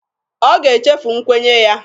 Ọ ga-echefu nkwenye ya.